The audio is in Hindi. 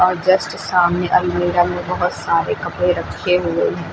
और जस्ट सामने अलमीरा में बहुत सारे कपड़े रखे हुए हैं।